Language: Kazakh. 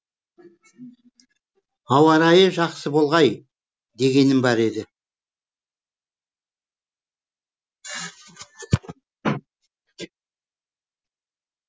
ауарайы жақсы болғай дегенім бар еді